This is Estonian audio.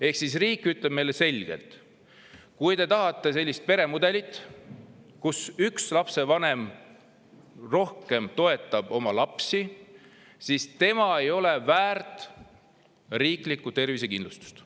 Ehk siis riik ütleb meile selgelt, et kui me tahame sellist peremudelit, kus üks lapsevanem toetab rohkem oma lapsi, siis ei ole väärt riiklikku tervisekindlustust.